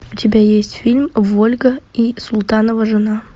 у тебя есть фильм вольга и султанова жена